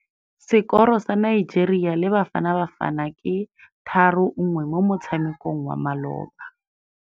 Sekôrô sa Nigeria le Bafanabafana ke 3-1 mo motshamekong wa malôba.